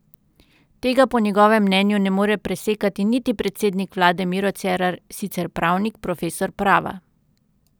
Tega po njegovem mnenju ne more presekati niti predsednik vlade Miro Cerar, sicer pravnik, profesor prava.